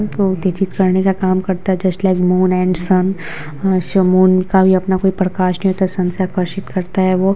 करने का काम करता है just like moon and sun हश मून का भी अपना कोई प्रकाश नहीं होता है सन से आकर्षित करता है वो--